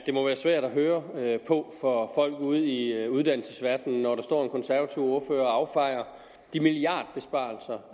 det må være svært at høre på for folk ude i uddannelsesverdenen når der står en konservativ ordfører og affejer de milliardbesparelser